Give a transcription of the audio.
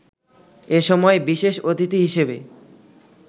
এ সময় বিশেষ অতিথি হিসেবে